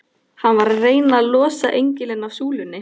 Hann var að reyna að losa engilinn af súlunni!